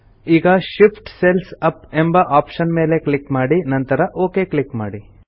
ಈಗ Shift cells up ಎಂಬ option ಮೇಲೆ ಕ್ಲಿಕ್ ಮಾಡಿ ನಂತರ ಒಕ್ ಕ್ಲಿಕ್ ಮಾಡಿ